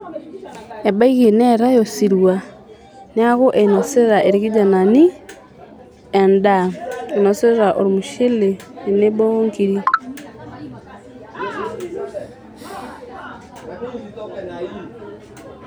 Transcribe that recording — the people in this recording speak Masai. Ebaiki neetae osirua neeku inosita irkijanani endaa. inosita ormushele tenebo onkiri